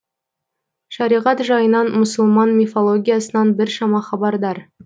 шариғат жайынан мұсылман мифологиясынан біршама хабардар